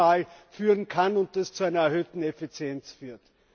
EUR minimal führen kann und das zu einer erhöhten Effizienz führt.